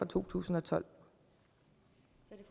to tusind og tolv